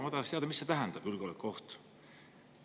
Ma tahaks teada, mida see julgeolekuoht tähendab.